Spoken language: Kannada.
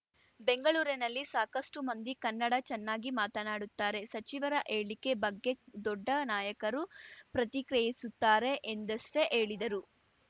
ಬೆಂಗಳೂರಿನಲ್ಲಿ ಸಾಕಷ್ಟುಮಂದಿ ಕನ್ನಡ ಚೆನ್ನಾಗಿ ಮಾತನಾಡುತ್ತಾರೆ ಸಚಿವರ ಹೇಳಿಕೆ ಬಗ್ಗೆ ದೊಡ್ಡ ನಾಯಕರು ಪ್ರತಿಕ್ರಿಯಿಸುತ್ತಾರೆ ಎಂದಷ್ಟೇ ಹೇಳಿದರು